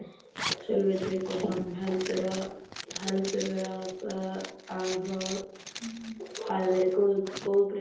Sölvi Tryggvason: Heldurðu að það hafi verið góð breyting?